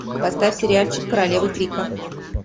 поставь сериальчик королевы крика